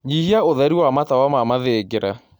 Nyĩhĩaũtherĩ wa matawa ma mathĩngĩra